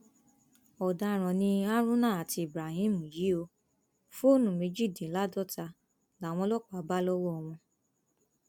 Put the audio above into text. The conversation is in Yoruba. ọdaràn ni haruna àti ibrahim yìí ò fóònù méjìdínláàádọta làwọn ọlọpàá bá lọwọ wọn